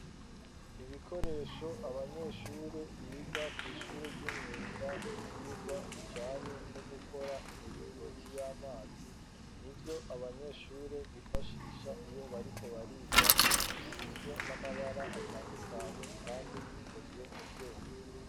Ibikoresho, abanyeshure biga, kw'ishure ry'imyuga, ivyigwa bijanye no gukora, imiringoti y'amazi, nivyo abanyeshure bifashisha, iyo bariko bariga; bisize n'amabara atandukanye, kandi bikozwe mu vyuma.